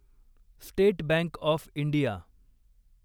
state bank of India